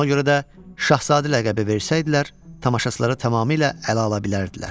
Ona görə də Şahzadə ləqəbi versəydilər, tamaşaçılara tamamilə ələ ala bilərdilər.